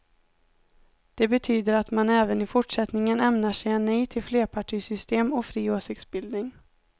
Det betyder att man även i fortsättningen ämnar säga nej till flerpartisystem och fri åsiktsbildning.